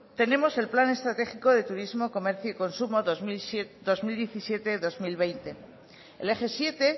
tenemos el plan estratégico de turismo comercio y consumo dos mil diecisiete dos mil veinte el eje siete